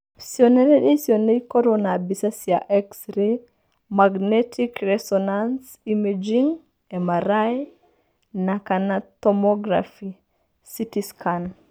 Cionereria icio no ikorũo na mbica cia x ray, magnetic resonance imaging (MRI) na/kana tomography (CT scan).